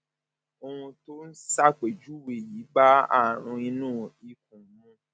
ohun tó o ṣàpèjúwe yìí bá àrùn inú ikùn mu